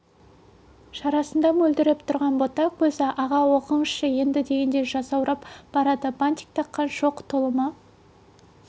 шарасында мөлдіреп тұрған бота көзі аға оқыңызшы енді дегендей жасаурап барады бантик таққан шоқ тұлымы